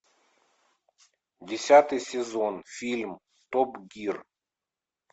десятый сезон фильм топ гир